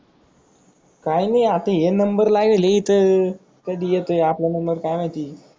काही नाही आता हे नंबर लागल हे इथं कधी येते आपला नंबर काय माहिती.